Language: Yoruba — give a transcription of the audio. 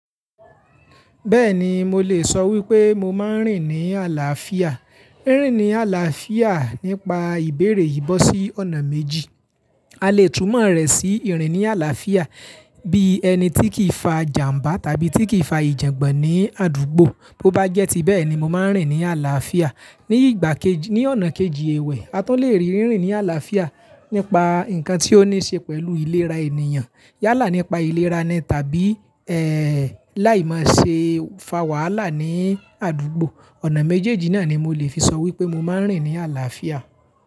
Bẹ́ẹ̀ni mo lè sọ wípé mo máa ń rìn ní àlàáfíà. Rín ní àlàáfíà nípa ìbéèrè yi bọ̀sí ọ̀nà méjì. A lè túmọ̀ rẹ̀ sí ìrìn ní àlàáfíà bí ẹni tí kì í fa jàmbá tàbí tí kì í fa ìjàǹgbàn ní àdúgbò. Bo bá jẹ́ ti bẹ́ẹ̀ ni mo máa ń rìn ní àlàáfíà. Ni ìgbà kejì, ní ọ̀nà kejì ewè, a tún le rí rìrin ní àlàáfíà nípa nǹkan tí ó ní ṣe pẹ̀lú ìlera ènìyàn yálà nípa ìlera nii tàbí làìmọ̀ ṣe fa wàhálà ní àdúgbò. Ọ̀nà méjèèjì náà ni mo lè fi sọ wípé mo máa ń rìn ní àlàáfíà.